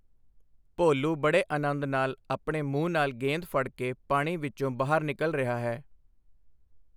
ਭੋਲੂ ਬੜੇ ਆਨੰਦ ਨਾਲ ਆਪਣੇ ਮੂੰਹ ਨਾਲ ਗੇਂਦ ਫੜ੍ਹ ਕੇ ਪਾਣੀ ਵਿੱਚੋਂ ਬਾਹਰ ਨਿਕਲ ਰਿਹਾ ਹੈ।